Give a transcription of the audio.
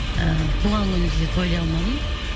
ы туған күнімді де тойлай алмадым